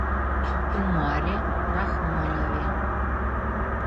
умаре рахмонове